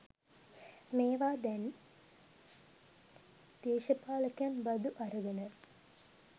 මේවාත් දැන් දේශපාලකයන් බදු අරගෙන